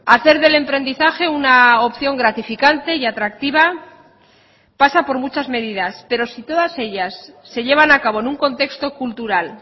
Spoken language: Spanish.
hacer del emprendizaje una opción gratificante y atractiva pasa por muchas medidas pero si todas ellas se llevan a cabo en un contexto cultural